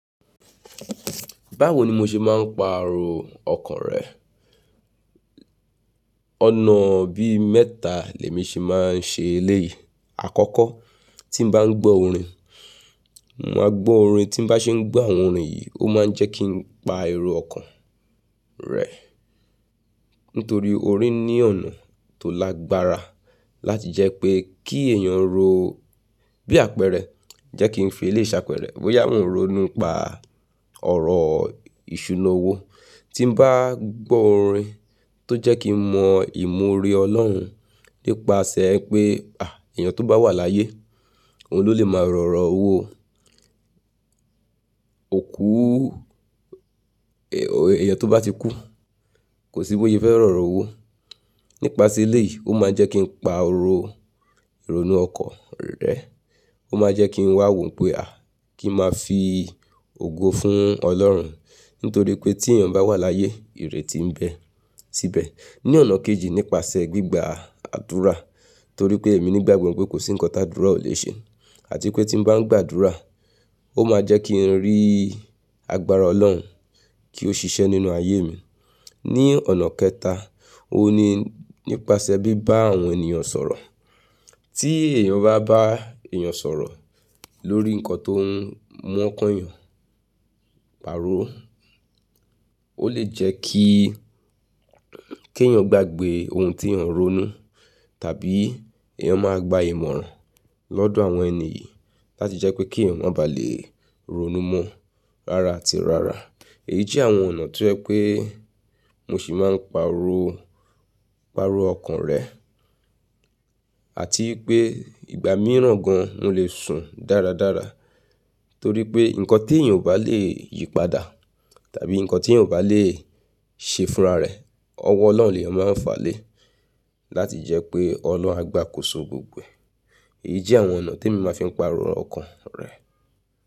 Báwo ni mo ṣe máa ń paaro ọkàn rẹ? Ọ̀nà bí mẹ́ta lẹ̀mi ṣe máa ń ṣe eléyìí. Àkọ́kọ́, tí mo bá ń gbọ́ orin, mo máa gbọ́ orin tí ń bá ṣe ń gbọ́ àwọn orin yìí, ó máa ń jẹ́ kí n pa ẹrò ọkàn rẹ. Nítorí orin ní ọ̀nà tó lágbára láti jẹ́ pé kí èèyàn ro bí àpẹẹrẹ, jẹ́ kí n fi eléyìí ṣàpẹẹrẹ. Bóyá mò ń ronú nipa ọ̀rọ̀ ìṣúná owó, tí mo bá gbọ́ orin tó jẹ́ kí n mọ ìmọ̀ oore Ọlọ́run nípasẹ̀ pé, "à, èèyàn tó bá wà láyé, òun ló lè máa rọ̀rọ́ owó. Òku, èèyàn tó bá ti kú, kò sí bóse fẹ́ rọ̀rọ́ owó." Nípasẹ̀ eléyìí, ó máa jẹ́ kí n pa oro ìrònú ọkan rẹ. Ó máa jẹ́ kí n wà wò pé a, kí n máa fi ògo fún Ọlọ́run. Nítorí pé tí èèyàn bá wà láyé, ìrètí ń bẹ síbẹ̀. Ní ọ̀nà kejì, nípasẹ̀ gbígba àdúrà. Torí pé èmi nígbàgbó pé kò sí nǹkan tí àdúrà ò lè ṣe. Àti pé tí mo bá ń gbàdúrà, ó máa jẹ́ kí n rí agbára Ọlọ́run kí ó ṣiṣẹ́ nínú ayé mi. Ní ọ̀nà kẹta, ó ní nípasẹ̀ bíbá àwọn ènìyàn sọ̀rọ̀. Tí èèyàn bá bá èèyàn sọ̀rọ̀ lórí nǹkan tó ń mú ọ́kàn eeyàn pàrọ́, ó lè jẹ́ kí, kí èèyàn gbàgbé ohun tí èèyàn ń ronú. Tàbí èèyàn máa gba ìmọ̀ràn lọ́dọ̀ àwọn ènìyí láti jẹ́ pé kí èèyàn má ba à lè ronú mọ́ rárá àti rárá. Èyí jẹ́ àwọn ọ̀nà tó jẹ́ pé mo ṣi máa ń paro, paro ọkàn rẹ. Àti wípé ìgbà mìíràn gan, mò lè sùn dáradára. Torí pé nǹkan tí èèyàn ò bá lè yípadà, tàbí nǹkan tí èèyàn ò bá lè ṣe fúnra rẹ̀, ọwọ́ Ọlọ́run ni ó máa ń fàlé. Láti jẹ́ pé ọ̀lorun à gbàkóso gbogbo e. Èyí jẹ́ àwọn ọ̀nà tí mo máa fi ń pariwo ọkàn rẹ.